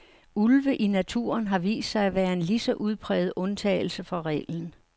Ulve i naturen har vist sig at være en lige så udpræget undtagelse fra reglen.